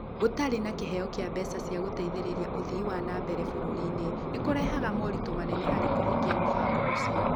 Gũtarĩ na kĩheo kĩa mbeca cia gũteithĩrĩria ũthii wa na mbere bũrũri-inĩ, nĩ kũrehaga moritũ manene harĩ kũhingia mũbango ũcio.